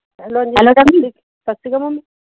hello Sat Sri Akal